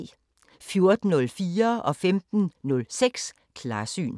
14:04: Klarsyn 15:06: Klarsyn